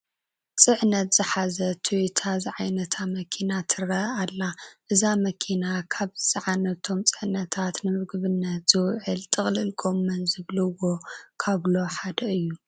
ሽዕነት ዝሓዘት ትዩታ ዝዓይነታ መኪና ትርአ ኣላ፡፡ እዛ መኪና ካብ ዝፀዓነቶም ፅዕነታት ንምግብነት ዝውዕል ጥቕልል ጐመን ዝብልዎ ካብሎ ሓደ እዩ፡፡